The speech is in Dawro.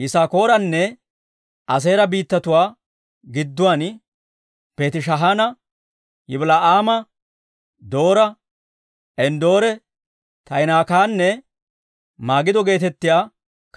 Yisaakooranne Aaseera biittatuwaa gidduwaan Beetishaana, Yibila'aama, Doora, Enddoore, Taa'inaakkanne Magido geetettiyaa